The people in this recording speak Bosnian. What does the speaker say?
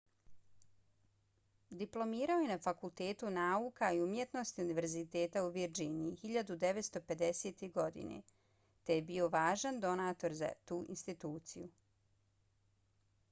diplomirao je na fakultetu nauka i umjetnosti univerziteta u virdžiniji 1950. godine te je bio važan donator za tu instituciju